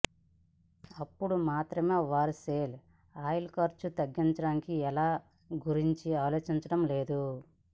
అప్పుడు మాత్రమే వారు షెల్ ఆయిల్ ఖర్చు తగ్గించడానికి ఎలా గురించి ఆలోచించడం లేదు